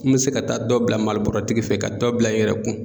N mi se ka taa dɔ bila malibɔrɔtigi fɛ yen, ka dɔ bila i yɛrɛ kun.